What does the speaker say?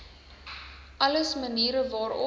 alles maniere waarop